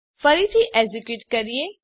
ફરીથી એક્ઝેક્યુટ કરીએ